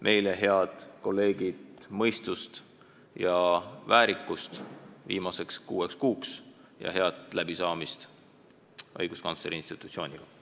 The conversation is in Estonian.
Meile, head kolleegid, aga mõistust ja väärikust viimaseks kuueks kuuks ja head läbisaamist õiguskantsleri institutsiooniga.